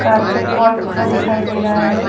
Carpet wallpaper दिखाई दे रहा है।